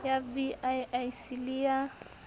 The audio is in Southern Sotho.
ya vii c le ya